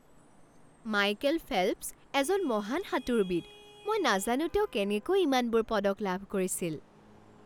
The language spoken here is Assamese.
মাইকেল ফেল্পছ এজন মহান সাঁতোৰবিদ। মই নাজানো তেওঁ কেনেকৈ ইমানবোৰ পদক লাভ কৰিছিল !